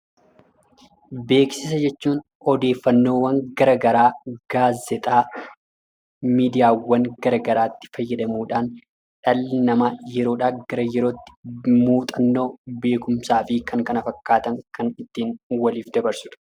Beeksisa jechuun odeeffannoowwan garaa garaa gaazexaa, miidiyaawwan gara garaatti fayyadamuudhaan dhalli namaa yeroodhaa gara yerootti muuxannoo, beekumsaa fi kan kana fakkaatan kan ittiin waliif dabarsudha.